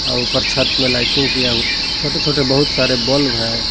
ऊपर छत में लाइटिंग किया हुआ छोटे छोटे बहुत सारे बल्ब हैं।